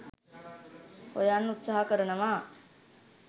හොයන්න උත්සාහ කරනවා